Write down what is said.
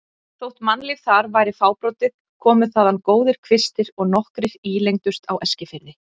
Þótt mannlíf þar væri fábrotið komu þaðan góðir kvistir og nokkrir ílengdust á Eskifirði.